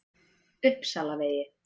Uppsalavegi